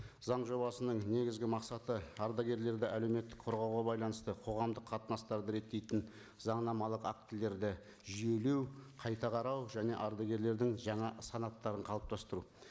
заң жобасының негізгі мақсаты ардагерлерді әлеуметтік қорғауға байланысты қоғамдық қатынастарды реттейтін заңнамалық актілерді жүйелеу қайта қарау және ардагерлердің жаңа санаттарын қалыптастыру